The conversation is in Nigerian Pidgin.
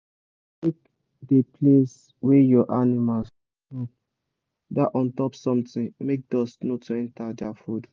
make de place wey your animals da chop da untop something make dust no too enter their food